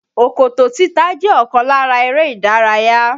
Òkòtó títa jẹ́ ọ̀kan lára eré ìdárayá